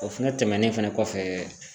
O fɛnɛ tɛmɛnen fɛnɛ kɔfɛ